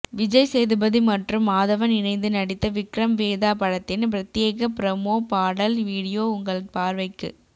விஜய் சேதுபதி மற்றும் மாதவன் இணைந்து நடித்த விக்ரம் வேதா படத்தின் பிரத்யேக ப்ரமோ பாட்டல் வீடியோ உங்கள் பார்வைக்கு